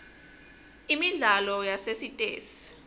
imidlalo yasesitesi